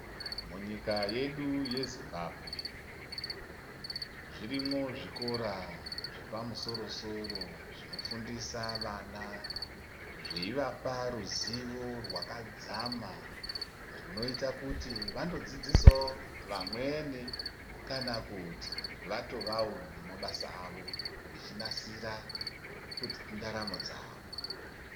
Munyika yedu yeZimbabwe zvirimwo zvikora zvepamusoro soro zvinofundisa vana zveivapa ruzivo rwakadzama runoita kuti vanodzidzisa wo vamweni kanakuti vatovawo nemabasa avo vechinasira ndaromo dzavo.